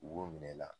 U b'o minɛ i la